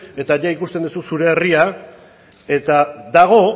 eta ia ikusten duzu zure herria eta dago